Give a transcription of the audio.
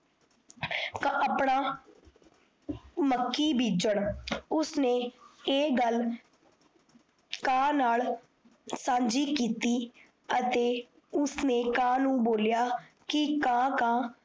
ਕਪੜਾ ਮੱਕੀ ਬੇਜਨ ਉਸਨੇ ਇਹ ਗੱਲ ਕਾ ਨਾਲ ਸਾਜੀ ਕੀਤੀ ਅਤੇ ਉਸਨੇ ਕਾ ਨੂੰ ਬੋਲਿਆ ਕਾ ਕਾ